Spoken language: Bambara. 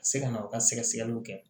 Ka se ka na u ka sɛgɛsɛgɛliw kɛ